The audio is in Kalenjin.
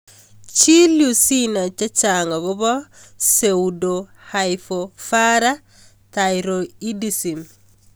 Chil yu sinai chechang' akopo pseudohypoparathyroidism